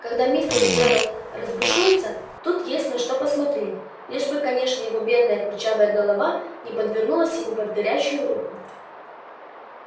когда мистер джералд разбушуется тут есть на что посмотреть лишь бы конечно её бедная курчавая голова не подвернулась ему под горячую руку